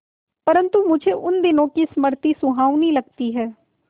परंतु मुझे उन दिनों की स्मृति सुहावनी लगती है